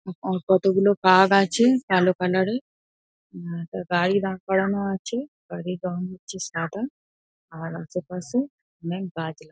কতগুলো কাগ আছে কালো কালার -এ। উম একটা গাড়ি দাঁড় করানো আছে। গাড়ির রং হচ্ছে সাদা। আর আশেপাশে অনেক গাছ লা--